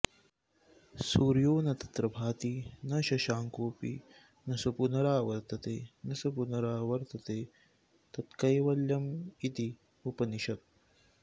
सूर्यो न तत्र भाति न शशाङ्कोऽपि न स पुनरावर्तते न स पुनरावर्तते तत्कैवल्यमित्युपनिषत्